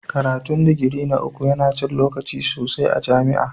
Karatun digiri na uku yana cin lokaci sosai a jami'a.